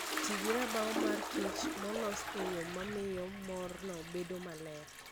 Ti gi rabaw mar mor kich molos e yo mamiyo morno bedo maler.